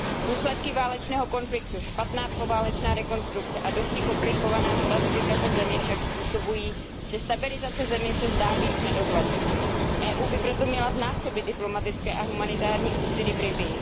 Důsledky válečného konfliktu, špatná poválečná rekonstrukce a dosti komplikovaná stratifikace země však způsobují, že stabilizace země se zdá být v nedohlednu. Evropská unie by proto měla znásobit diplomatické a humanitární úsilí v Libyi.